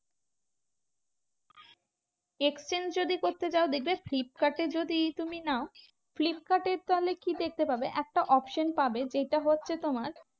Exchange যদি করতে চাও দেখবে ফ্লিপকার্ডে যদি তুমি নাও, ফ্লিপকার্ডের তাহলে কি দেখতে পাবে? একটা option পাবে যেটা হচ্ছে তোমার